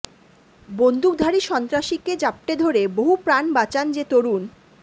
বন্দুকধারী সন্ত্রাসীকে জাপটে ধরে বহু প্রাণ বাঁচান যে তরুণ